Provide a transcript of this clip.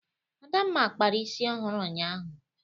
Adamma kpara isi ọhụrụ ụnyaahụ.